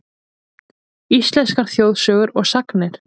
Íslenskar þjóðsögur og sagnir.